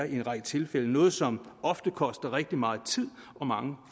i en række tilfælde noget som ofte koster rigtig meget tid og mange